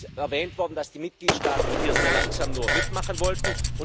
Es ist erwähnt worden, dass die Mitgliedstaaten hier nur sehr langsam mitmachen wollten.